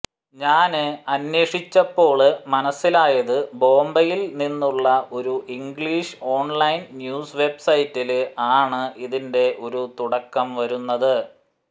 ഞാന് അന്വേഷിച്ചപ്പോള് മനസിലായത് ബോംബയില് നിന്നുള്ള ഒരു ഇംഗ്ലീഷ് ഓണ്ലൈന് ന്യൂസ് വെബ്സൈറ്റില് ആണ് ഇതിന്റെ ഒരു തുടക്കം വരുന്നത്